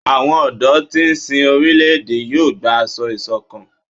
Awọn ọdọ ti n sín orilẹ-ède yóò gbà aṣọ ìṣọ̀kan